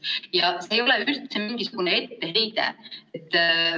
Ja see ei ole üldse etteheide.